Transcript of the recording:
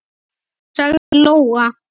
sagði Lóa.